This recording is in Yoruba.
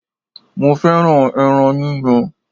Mo fẹ́ràn ẹran yíyan.